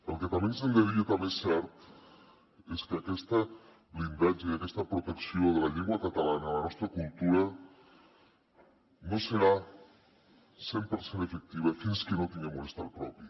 el que també ens hem de dir i també és cert és que aquest blindatge aquesta protecció de la llengua catalana la nostra cultura no serà cent per cent efectiva fins que no tinguem un estat propi